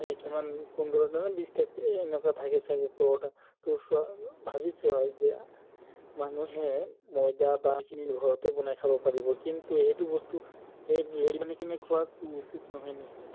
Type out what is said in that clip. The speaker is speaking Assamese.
পোন্ধৰতা নে বিশতা এনেকুৱা থাকে চাগে ভাবিচোৱা যে মানুহে মইদা বা ঘৰতে বনাই খাব পাৰিব কিন্তু এইটো বস্তু খোৱাতো উচিত নহয় না এতিয়া